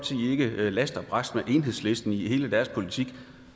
ikke last og brast med enhedslisten i hele deres politik